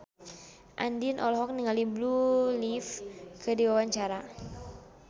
Andien olohok ningali Blue Ivy keur diwawancara